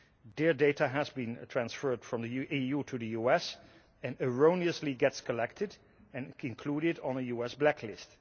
Their data has been transferred from the EU to the US and erroneously gets collected and included on a US blacklist.